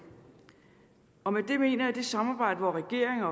og med det mener jeg det samarbejde hvor regeringen